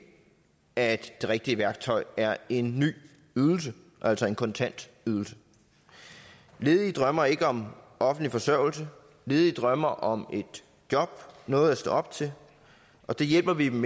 at det rigtige værktøj er en ny ydelse altså en kontantydelse ledige drømmer ikke om offentlig forsørgelse ledige drømmer om et job noget at stå op til og det hjælper vi dem